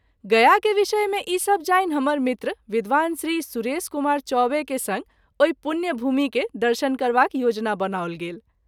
गया के विषय मे ई सभ जानि हमर मित्र विद्वान श्री सुरेश कुमार चौबे के संग ओहि पुण्य भूमि के दर्शन करबाक योजना बनाओल गेल।